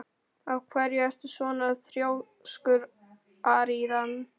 Af hverju ertu svona þrjóskur, Aríaðna?